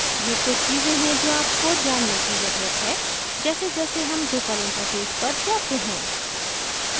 ये कुछ चीज़ें हैं जो आपको जानने की ज़रुरत है जैसेजैसे हम drupal interface पर जाते हैं